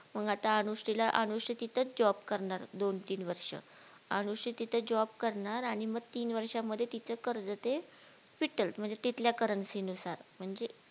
मग आता अनुश्रीला अनुश्री तिथेच JOB करणार दोन तीन वर्ष अनुश्री तिथे JOB करणार आणि मग तीन वर्षा मध्ये तिच कर्ज ते फिटल म्हणजे तिथल्या CURRENCY नुसार म्हणजे